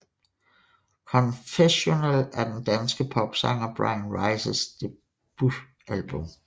Confessional er den danske popsanger Bryan Rices debutalbum